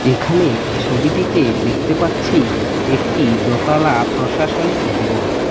এখানে ছবিটিতে দেখতে পাচ্ছি একটি দোতালা প্রশাসনিক ভবন।